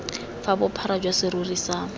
fa bophara jwa serori sa